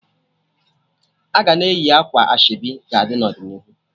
Aga na-eyi akwa ashebi ga-adi n'ọdịnihu